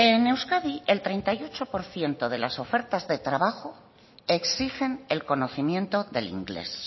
en euskadi el treinta y ocho por ciento de las ofertas de trabajo exigen el conocimiento del inglés